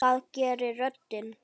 Það gerir röddin.